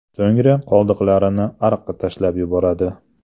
So‘ngra qoldiqlarini ariqqa tashlab yuboradi.